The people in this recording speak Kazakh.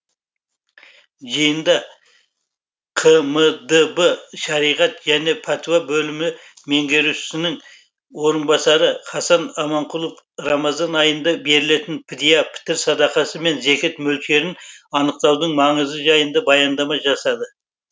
жиында қмдб шариғат және пәтуа бөлімі меңгерушісінің орынбасары хасан аманқұлов рамазан айында берілетін підия пітір садақасы мен зекет мөлшерін анықтаудың маңызы жайында баяндама жасады